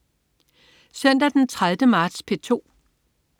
Søndag den 30. marts - P2: